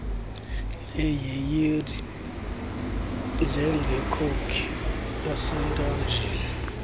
legiyeri njengekhoki esentanjeni